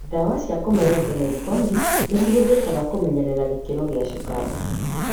Dawa cia kũmeria ta metformin nĩ cihũthikaga kũmenyerera gĩkĩro gia cukari.